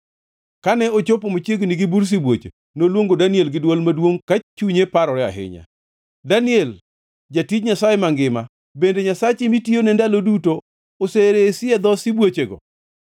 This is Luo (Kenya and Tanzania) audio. Kane ochopo machiegni gi bur sibuoche, noluongo Daniel gi dwol maduongʼ ka chunye parore niya, “Daniel, jatij Nyasaye Mangima, bende Nyasachi mitiyone ndalo duto oseresi e dho sibuochego?”